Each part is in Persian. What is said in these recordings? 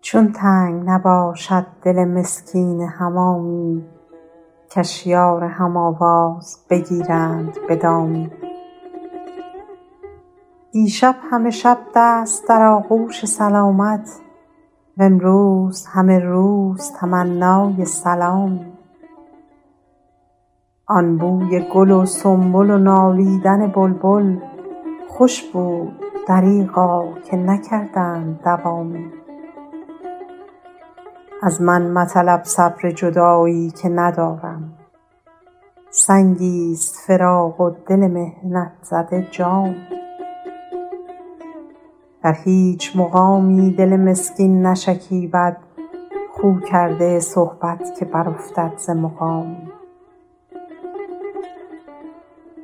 چون تنگ نباشد دل مسکین حمامی کش یار هم آواز بگیرند به دامی دیشب همه شب دست در آغوش سلامت وامروز همه روز تمنای سلامی آن بوی گل و سنبل و نالیدن بلبل خوش بود دریغا که نکردند دوامی از من مطلب صبر جدایی که ندارم سنگی ست فراق و دل محنت زده جامی در هیچ مقامی دل مسکین نشکیبد خو کرده صحبت که برافتد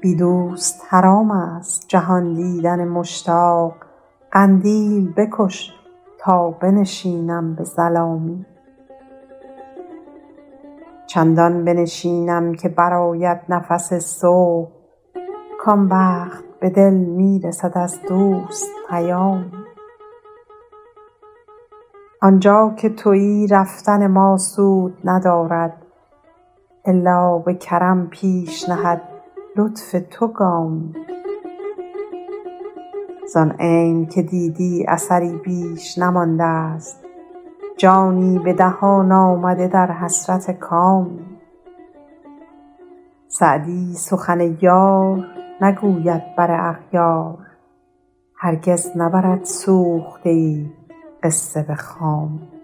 ز مقامی بی دوست حرام است جهان دیدن مشتاق قندیل بکش تا بنشینم به ظلامی چندان بنشینم که برآید نفس صبح کآن وقت به دل می رسد از دوست پیامی آن جا که تویی رفتن ما سود ندارد الا به کرم پیش نهد لطف تو گامی زآن عین که دیدی اثری بیش نمانده ست جانی به دهان آمده در حسرت کامی سعدی سخن یار نگوید بر اغیار هرگز نبرد سوخته ای قصه به خامی